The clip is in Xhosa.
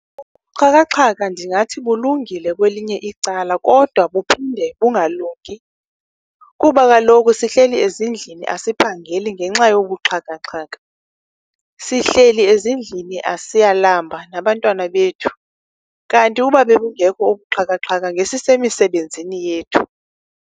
Ubuxhakaxhaka ndingathi bulungile kwelinye icala kodwa buphinde bungalungi, kuba kaloku sihleli ezindlini asiphangeli ngenxa yobu buxhakaxhaka. Sihleli ezindlini siyalamba nabantwana bethu, kanti uba bebungekho obu buxhakaxhaka, ngesisemisebenzini yethu.